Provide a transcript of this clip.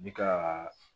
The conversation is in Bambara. Bi ka